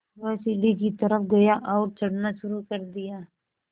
वह सीढ़ी की तरफ़ गया और चढ़ना शुरू कर दिया